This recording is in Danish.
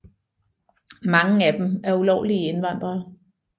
Mange af dem er ulovlige indvandrere